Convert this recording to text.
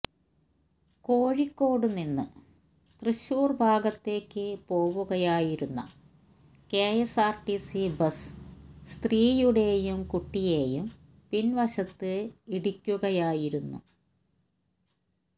കോഴിക്കോട് നിന്ന് തൃശ്ശൂർ ഭാഗത്തേക്ക് പോവുകയായിരുന്ന K S R T C bus സ്ത്രീയുടെയും കുട്ടിയെയും പിൻവശത്ത് ഇടിക്കുകയായിരുന്നു